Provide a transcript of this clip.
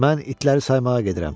Mən itləri saymağa gedirəm.